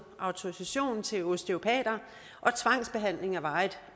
autorisation til osteopater